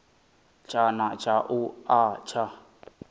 tshana tsha u a tsha